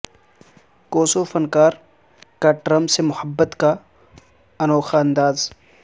Kosovo فنکار کا Trump سے محبت کا انوکھا انداز